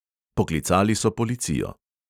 Poklicali so policijo.